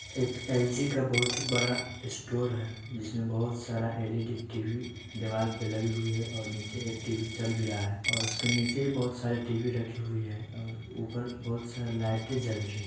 एक एल_जी का बहुत बड़ा स्टोर है जिसमे बहुत सारा एल_ई_डी टी_वी दीवार पर लगी हुई है और नीचे एक टी_वी चल भी रहा है और इसके नीचे बहुत सारे टी_वी रखे हुए हैं बहुत सारी लाइट जल रही है।